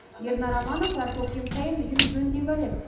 ернар аманов әр көктем сайын үйін жөндеп әлек